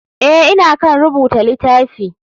Eh ,ina kan rubuta litafi.